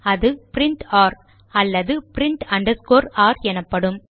அது print r அல்லது print underscore r எனப்படும்